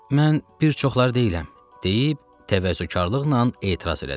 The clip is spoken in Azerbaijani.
Mən bir çoxları deyiləm, deyib təvəzzökarlıqla etiraz elədim.